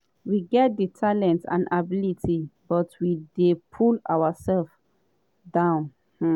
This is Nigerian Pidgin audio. we get di talent and ability but we dey pull oursefs down. um